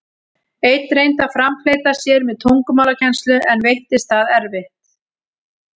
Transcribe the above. Einn reyndi að framfleyta sér með tungumálakennslu, en veittist það erfitt.